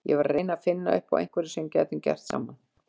Ég var að reyna að finna upp á einhverju sem við gætum gert saman.